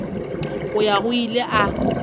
go ya go ile a